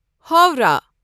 Howrah